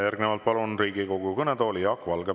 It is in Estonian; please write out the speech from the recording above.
Järgnevalt palun Riigikogu kõnetooli Jaak Valge.